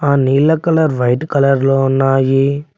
ఆ నీల colour white colour లో ఉన్నాయి.